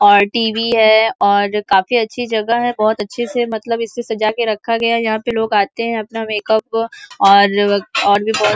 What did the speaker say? और टीवी है और काफ़ी अच्छी जगह है। बहोत अच्छी से मतलब इसे सजा के रखा गया है। यहाँ पे लोग आते हैं। अपना मेकअप और अक और भी बहोत --